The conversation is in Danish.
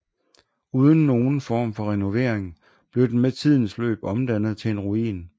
Uden nogen form for renovering blev den med tidens løb omdannet til en ruin